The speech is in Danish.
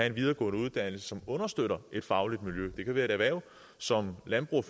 en videregående uddannelse som understøtter et fagligt miljø det kan være et erhverv som landbrugs